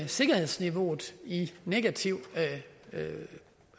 sikkerhedsniveauet i negativ